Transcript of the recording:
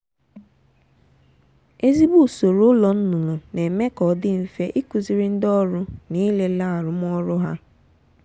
ezigbo usoro ụlọ nnụnụ na-eme ka ọ dị mfe ikuziri ndị ọrụ na ilele arụmọrụ ha.